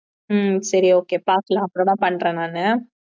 உம் சரி oaky பாக்கலாம் அப்புறமா பண்றேன் நானு